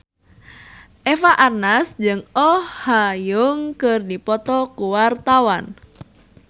Eva Arnaz jeung Oh Ha Young keur dipoto ku wartawan